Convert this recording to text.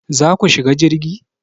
Za ku shiga jirgi?